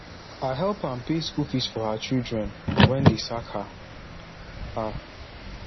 i help am pay school fees for her children wen dey sack her her